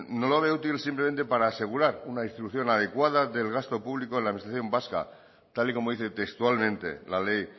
no lo veo útil simplemente para asegurar una instrucción adecuada del gasto público en la administración vasca tal y como dice textualmente la ley